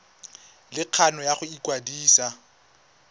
le kgano ya go ikwadisa